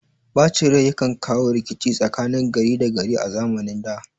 Ɓacin rai yakan kawo rikici tsakanin gari da gari a zamanin da